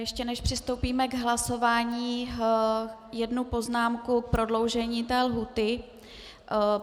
Ještě než přistoupíme k hlasování, jednu poznámku k prodloužení té lhůty.